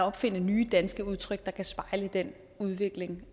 opfinde nye danske udtryk der kan spejle den udvikling